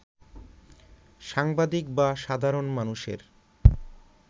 সাংবাদিক বা সাধারণ মানুষের